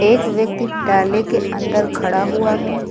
एक व्यक्ति टॉली के अंदर खड़ा हुआ है।